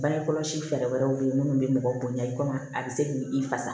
Bange kɔlɔsi fɛɛrɛ wɛrɛw bɛ ye minnu bɛ mɔgɔ bonya i komi a bɛ se k'i i fasa